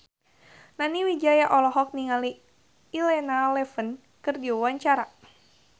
Nani Wijaya olohok ningali Elena Levon keur diwawancara